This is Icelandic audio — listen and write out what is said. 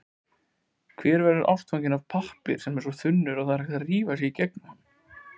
Hver verður ástfanginn af pappír sem er svo þunnur, að það rifar í gegnum hann?